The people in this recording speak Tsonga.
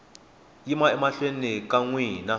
yima emahlweni ka n wina